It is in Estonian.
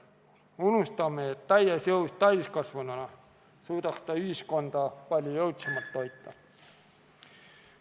Me unustame, et täies jõus täiskasvanuna suudaks ta ühiskonda palju jõudsamalt toita.